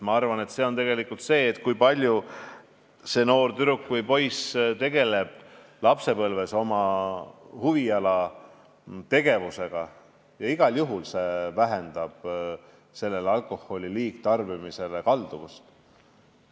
Ma arvan, et see, kui tüdruk või poiss tegeleb lapsepõlves huvitegevusega, igal juhul vähendab kalduvust liigselt alkoholi tarbima hakata.